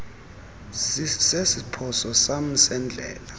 sesiphoso sam sendlela